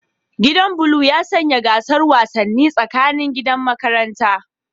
Gidan blue ya sanya gasar wasanni tsakanin gidan makaranta